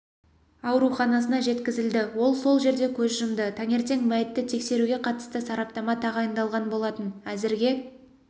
ауруханасына жеткізілді ол сол жерде көз жұмды таңертең мәйітті тексеруге қатысты сараптама тағайындалған болатын әзірге